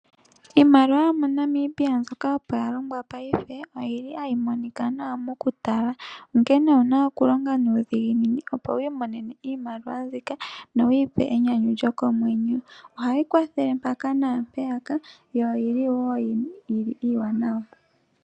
Iimaliwa yomoNamibia mbyoka opo ya longwa paife ohayi monika nawa mokutala, onkene owu na okulonga nuudhiginini opo wu imonene iimaliwa mbika nowu ipe enyanyu lyokomwenyo. Ohayi kwathele mpaka naampeyaka yo iiwanwa.